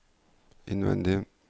innvendig